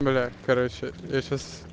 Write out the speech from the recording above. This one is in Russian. бля короче я сейчас